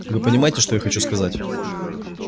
вы понимаете что я хочу сказать